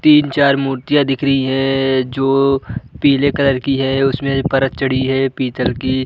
तीन-चार मूर्तियाँ दिख रही है जो पीले कलर की है उसमे परत चढ़ी है पीतल की।